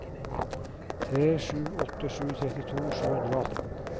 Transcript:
tre sju åtte sju trettito sju hundre og atten